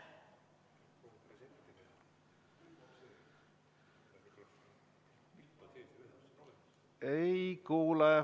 Ei kuule.